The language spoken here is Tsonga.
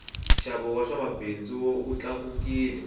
nxavo wa swa mabindzu wu tlakukile